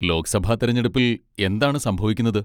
ലോക്സഭാ തിരഞ്ഞെടുപ്പിൽ എന്താണ് സംഭവിക്കുന്നത്?